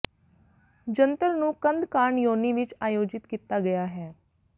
ਜੰਤਰ ਨੂੰ ਕੰਧ ਕਾਰਨ ਯੋਨੀ ਵਿੱਚ ਆਯੋਜਿਤ ਕੀਤਾ ਗਿਆ ਹੈ